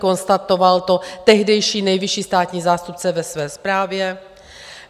Konstatoval to tehdejší nejvyšší státní zástupce ve své zprávě.